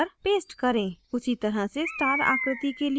उसी तरह से star आकृति के लिए करें